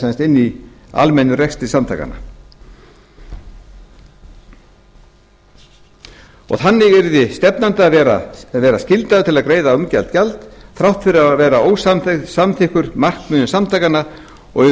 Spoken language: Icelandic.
inni í almennum rekstri samtakanna þannig yrði stefnandi að vera skyldaður til að greiða umrætt gjald þrátt fyrir að vera ósamþykkur markmiðum samtakanna og í